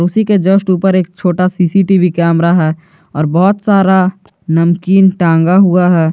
उसी के जस्ट ऊपर एक छोटा सी_सी_टी_वी कैमरा है और बहुत सारा नमकीन टांगा हुआ है।